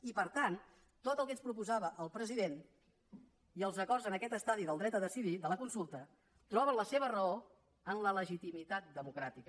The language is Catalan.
i per tant tot el que ens proposava el president i els acords en aquest estadi del dret a decidir de la consulta troben la seva raó en la legitimitat democràtica